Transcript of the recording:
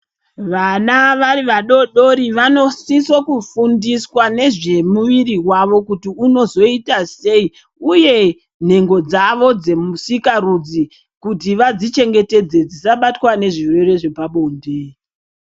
Vana vari vadodori vanosisa kufundiswa nezvemuviri wavo kuti unozoita sei uye nhengo dzavo dzemusikarudzi kuti vadzichengetedze dzisabatwa nezvirwere zvepabonde.